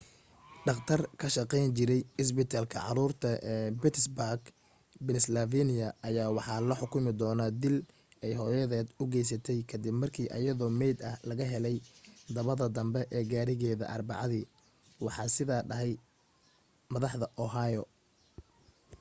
dhaqtar ka shaqeyn jiray isbitaalka caruurta ee pittsburgh pennsylvania ayaa waxa loo xukumi doona dil ay hooyaded u geysatay kadib markii ayadoo meyd ah laga helay dabada danbe ee gaarigeda arbacadi waxaa sida dhahay madaxda ohio